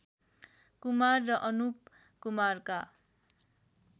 कुमार र अनुप कुमारका